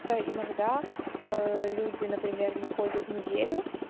то иногда ээ люди например не ходят неделю